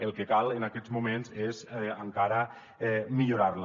el que cal en aquests moments és encara millorar la